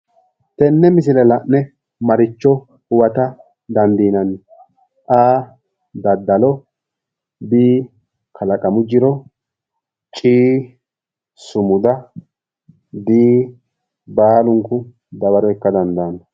Tenne misile la'ne maricho huwata dandiinanni? a. daddalo b. kalaqamu jiro c. sumuda d. baalunku dawaro ikka dandaanno.